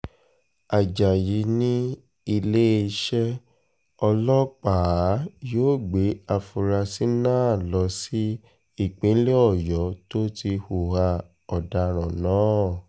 ajayi ni iléeṣẹ́ ọlọ́pàá yóò gbé àfúrásì náà lọ sí ìpínlẹ̀ ọ̀yọ́ tó ti hùwà ọ̀daràn náà